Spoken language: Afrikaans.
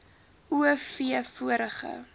o v vorige